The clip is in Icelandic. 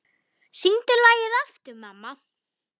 Syngdu lagið aftur, mamma